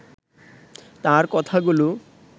তার কথাগুলো